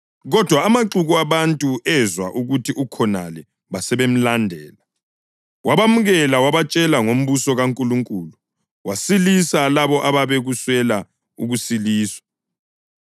kodwa amaxuku abantu ezwa ukuthi ukhonale basebemlandela. Wabemukela wabatshela ngombuso kaNkulunkulu, wasilisa labo ababekuswela ukusiliswa.